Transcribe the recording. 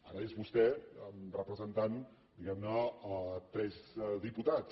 ara és vostè representant diguem ne tres diputats